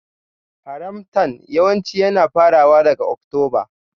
Harmattan yawanci yana farawa daga Oktoba.